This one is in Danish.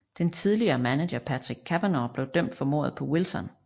Den tidligere manager Patrick Cavanaugh blev dømt for mordet på Wilson